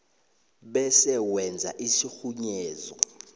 bese wenza isirhunyezo